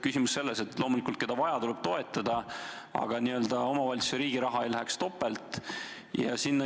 Küsimus on selles, et loomulikult tuleb seda, keda vaja, toetada, aga tuleks tagada, et omavalitsuse ja riigi raha ei läheks topelt.